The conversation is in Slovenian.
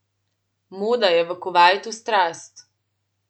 Moda je v Kuvajtu strast.